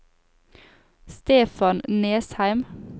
Stefan Nesheim